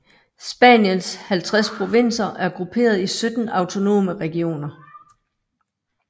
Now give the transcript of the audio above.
Spaniens 50 provinser er grupperet i 17 autonome regioner